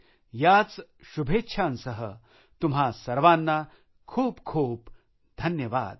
याच शुभेच्छांसह तुम्हा सर्वांना खूप खूप धन्यवाद